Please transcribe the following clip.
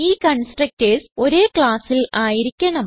ഈ കൺസ്ട്രക്ടർസ് ഒരേ ക്ലാസ്സിൽ ആയിരിക്കണം